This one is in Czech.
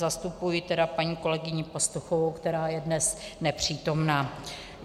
Zastupuji tedy paní kolegyni Pastuchovou, která je dnes nepřítomná.